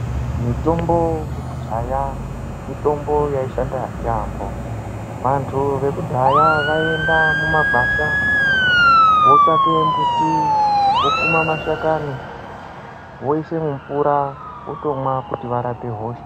Mutombo yekudhaya mitombo yaishanda yaamho. Vantu vekudhaya vaienda mumagwasha, votsvake mbuti, vokuma mashakani, voise mumvura votomwa kuti varape hosha.